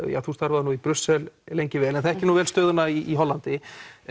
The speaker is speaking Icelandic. þú starfaðir nú í Brussel lengi vel en þekkir stöðuna í Hollandi það